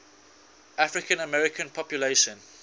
african american population